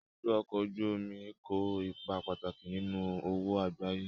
Ibùdó ọkọ̀ ojú omi kó ipa pàtàkì nínú òwò àgbáyé